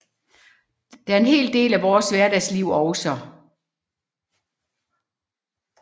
Det er en hel del af vores hverdagsliv også